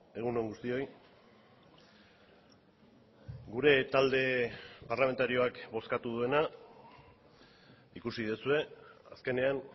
egun on guztioi gure talde parlamentarioak bozkatu duena ikusi duzue azkenean